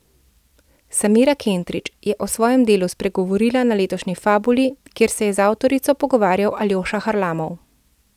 Samira Kentrić je o svojem delu spregovorila na letošnji Fabuli, kjer se je z avtorico pogovarjal Aljoša Harlamov.